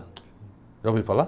Já ouviu falar?